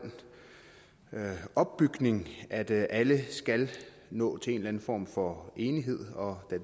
opbygning at alle skal nå til en eller anden form for enighed og